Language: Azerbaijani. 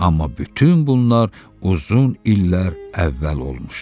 Amma bütün bunlar uzun illər əvvəl olmuşdu.